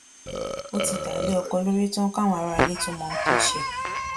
ó ti dá a lé ọkọ lórí tán káwọn aráalé tóo mọ ohun tó ṣe